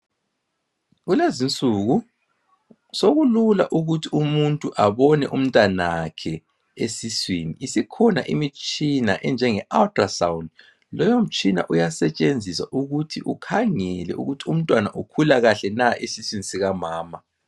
Kulezi insuku sokulula ukuthi umuntu abone umntanakhe esuswini isikhona imitshina enjengo ultra scan leyo mtshina uyasetshenziswa ukhangele ukuthi ukhangele ukuthi umntwana ukhula kahle na esuswini sikamama.